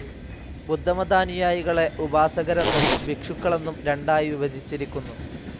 ബുദ്ധമതാനുയായികളെ ഉപാസകരെന്നും ഭിക്ഷുക്കളെന്നും രണ്ടായി വിഭജിച്ചിരിക്കുന്നു.